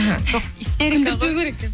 жоқ истерика ғой